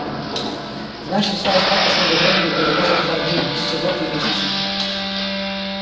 значит осталось не так уж много времени подытожил хардин всего три месяца